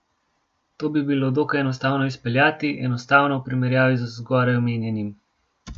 To bi bilo dokaj enostavno izpeljati, enostavno v primerjavi z zgoraj omenjenim.